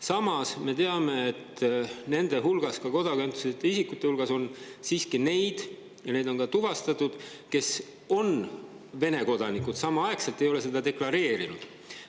Samas me teame, et nende hulgas, ka kodakondsuseta isikute hulgas, on siiski neid – ja neid on ka tuvastatud –, kes on samal ajal Vene kodanikud, aga ei ole seda deklareerinud.